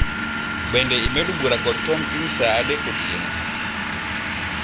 Bende imedo bura kod Tom kiny saa adek otieno